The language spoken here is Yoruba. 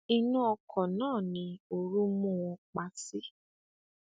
inú ọkọ náà ni ooru mú wọn pa sí